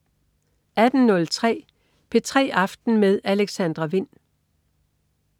18.03 P3 aften med Alexandra Wind